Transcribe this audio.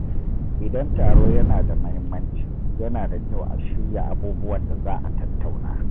Idan taro yana da mahimmanci, yana da kyau a shirya abubuwan da za a tattauna.